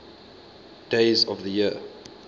days of the year